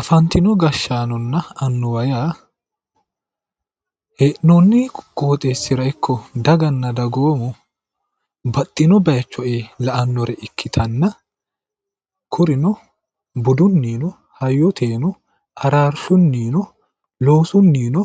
afantino gashshaanonna annuwa yaa hee'noonni qooxeessira ikko daganna dagoomu baxxino bayiicho ee la'annore ikkitanna kurino budunino hayyoteno araarshunino loosunnino